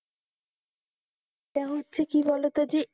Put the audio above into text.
তা হচ্ছে কি বলত যে,